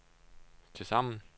tilsammen